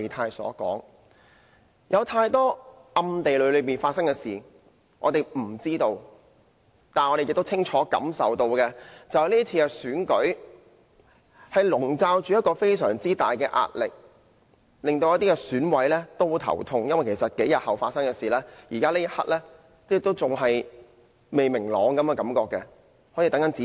今次選舉有太多暗地裏發生的事，我們不知道，但我們亦清楚感受到，選舉籠罩着極大壓力，令一些選委非常苦惱，因為特首選舉數天後便會進行，但至今事情感覺上仍未明朗，好像仍在等待甚麼指示。